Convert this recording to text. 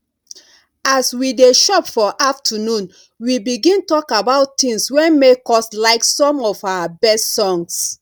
as we dey chop for afternoon we begin talk about things wey make us like some of our best songs